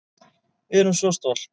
Við erum svo stolt